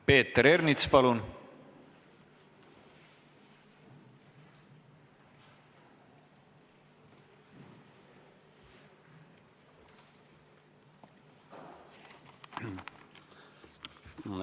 Peeter Ernits, palun!